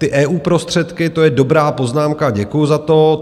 Ty EU prostředky, to je dobrá poznámka, děkuju za to.